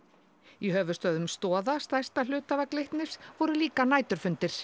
í höfuðstöðvum Stoða stærsta hluthafa Glitnis voru líka næturfundir